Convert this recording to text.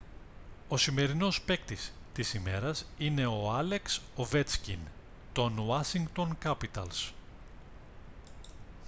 ο σημερινός παίκτης της ημέρας είναι ο άλεξ οβέτσκιν των ουάσιγκτον κάπιταλς